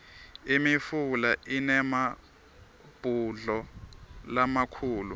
imifula inemabhudlo lamakhulu